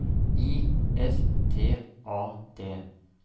I S T A D